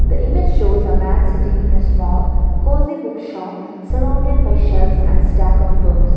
the image shows a man sittimg in small cosy book shop surrounded by shelves and stack of books.